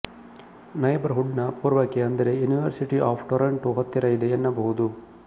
neighbour ಹುಡ್ ನ ಪೂರ್ವಕ್ಕೆ ಅಂದರೆ ಯೂನಿವರ್ಸಿಟಿ ಆಫ್ ಟೊರಾಂಟೋ ಹತ್ತಿರ ಇದೆ ಎನ್ನಬಹುದು